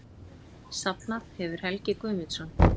Safnað hefur Helgi Guðmundsson.